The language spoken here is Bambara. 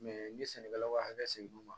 n ye sɛnɛkɛlaw ka hakɛ sigi